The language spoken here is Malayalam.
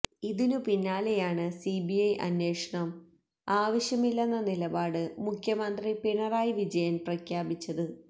ഇതിനു പിന്നാലെയാണ് സിബിഐ അന്വേഷണം ആവശ്യമില്ലെന്ന നിലപാട് മുഖ്യമന്ത്രി പിണറായി വിജയന് പ്രഖ്യാപിച്ചത്